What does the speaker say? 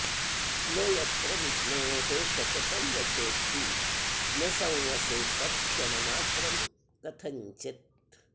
न यत्र विष्णोः सततं वचोस्ति न संवसेत्तत्क्षणमात्रं कथञ्चित्